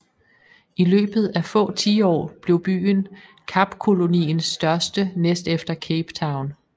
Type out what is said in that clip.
I løbet af få tiår blev byen Kapkoloniens største næst efter Cape Town